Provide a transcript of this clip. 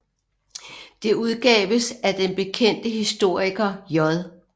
Det udgaves af den bekendte historiker J